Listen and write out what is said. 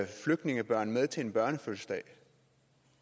flygtningebørn med til en børnefødselsdag